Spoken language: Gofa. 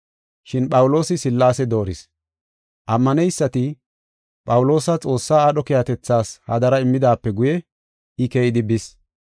Shin Phawuloosi Sillaase dooris; ammaneysati Phawuloosa Xoossa aadho keehatethas hadara immidaape guye, I keyidi bis.